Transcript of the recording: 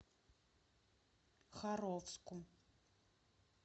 харовску